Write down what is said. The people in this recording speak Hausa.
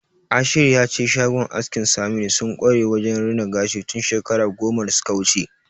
Ashiru ya ce shagon askin Saminu sun kware wajen rina gashi tun shekaru goma da suka wuce.